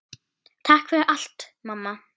Takk fyrir allt, mamma.